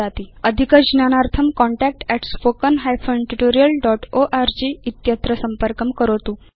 अधिकज्ञानार्थं contactspoken hyphen tutorial dot org संपर्कं करोतु